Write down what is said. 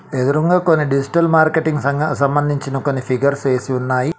ఎదురుంగా కొన్ని digital marketing సంగా సంబందించిన కొన్ని ఫిగర్స్ వేసి ఉన్నాయి.